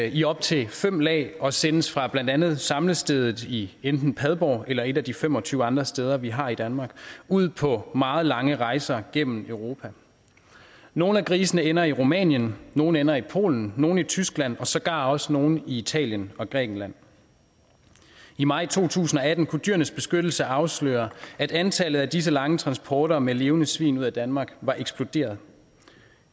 i op til fem lag og sendes fra blandt andet samlestedet i enten padborg eller et af de fem og tyve andre steder vi har i danmark ud på meget lange rejser gennem europa nogle af grisene ender i rumænien nogle ender i polen nogle i tyskland og sågar også nogle i italien og grækenland i maj to tusind og atten kunne dyrenes beskyttelse afsløre at antallet af disse lange transporter med levende svin ud af danmark var eksploderet